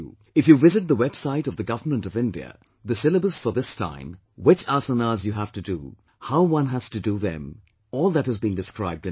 If you visit the website of the Government of India, the syllabus for this time, which 'asanas' you have to do, how one has to do them, all that has been described in it